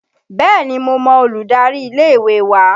Bẹ́ẹ̀ni, mo mọ olùdarí ilé ìwé wa